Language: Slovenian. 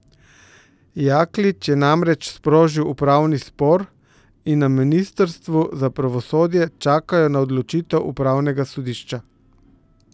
Jaklič je namreč sprožil upravni spor in na ministrstvu za pravosodje čakajo na odločitev upravnega sodišča.